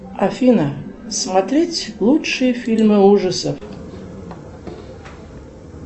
афина смотреть лучшие фильмы ужасов